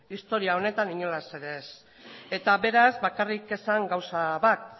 historia honetan inolaz ere ez eta beraz bakarrik esan gauza bat